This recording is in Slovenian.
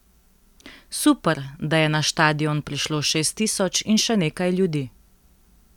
Super, da je na štadion prišlo šest tisoč in še nekaj ljudi.